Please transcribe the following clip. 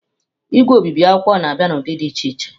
Igwe obibi akwụkwọ na-abịa n'ụdị dị iche iche.